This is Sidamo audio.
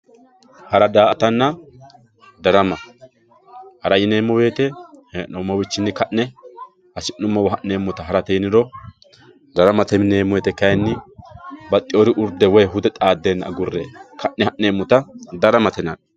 hara daa''atanna darama hara yineemmo wote hee'noomowiichinni ka'ne hasi'nummowa hara harate yiniro daramate yineemmoti kayiinni baxxeewori hude woyi urde xaaddeenna agurre ka'ne ha'neemmota daramate yinanni.